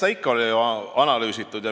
Eks ikka ole analüüsitud.